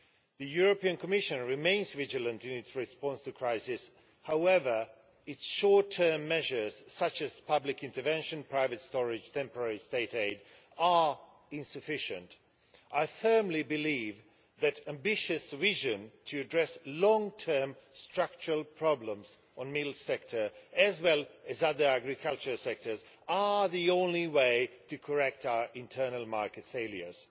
The European Commission remains vigilant in its response to crisis, however its short-term measures such as public intervention, private storage and temporary state aid, are insufficient. I firmly believe that ambitious revision to address long term structural problems on the milk sector, as well as other agriculture sectors, are the only way to correct our internal market failures.